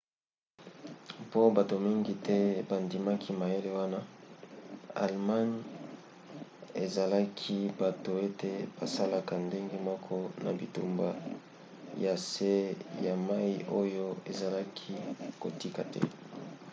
mpo bato mingi te bandimaki mayele wana allemagne ezelaki bato ete basalaka ndenge moko na bitumba ya se ya mai oyo azalaki kotika te